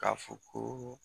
K'a fɔ ko